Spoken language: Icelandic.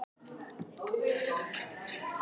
Fyrrum utanríkisráðherra Bandaríkjanna látinn